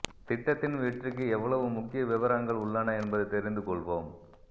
திட்டத்தின் வெற்றிக்கு எவ்வளவு முக்கிய விவரங்கள் உள்ளன என்பதைத் தெரிந்து கொள்வோம்